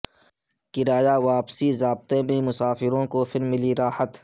کرایہ واپسی ضابطے میں مسافروں کو پھر ملی راحت